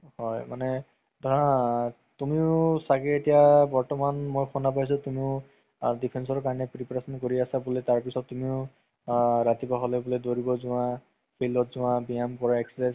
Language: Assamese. হয় মানে ধৰা তুমিও ছাগে এতিয়া বৰ্তমান মই শুনা পাইছো তুমিও defiance ৰ কাৰণে prepare কৰি আছা বুলে তাৰ পিছত তুমিও আ ৰাতিপুৱা হ'লে বুলে দৌৰিব যোৱা field ত যোৱা ব্যায়াম কৰা exercise কৰা